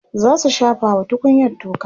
zasu shafa wa tukunyan toka